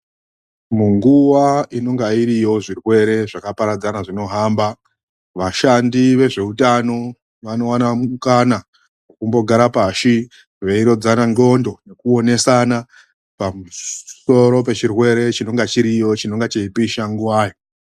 MUNGUWA INONGA IRIYO ZVIRWEREZVAKAPARADZANA ZVINOHAMBA VASHANDI VEZVEUTANO VANOWANA MUKANA WOKUMBO GARA PASI VEIRODZANA N'ONDO NEKUONESANA PAMUSORO PECHIRWERE CHINONGE CHIRIYO CHINENGE CHEIPISA NGUWATO.